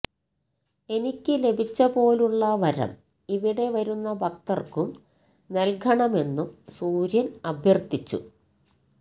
എനിക്കു ലഭിച്ചപോലുള്ള വരം ഇവിടെ വരുന്ന ഭക്തര്ക്കും നല്കണമെന്നും സൂര്യന് അഭ്യര്ഥിച്ചു